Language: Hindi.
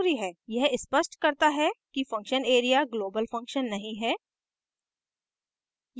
यह स्पष्ट करता है कि function area global function नहीं है